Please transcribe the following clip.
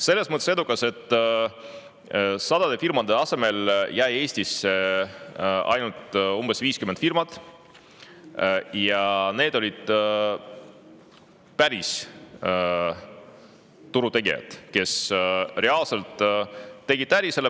Selles mõttes edukas, et sadade firmade asemel jäi Eestisse ainult umbes 50 firmat ja need olid päris turutegijad, kes reaalselt tegid äri.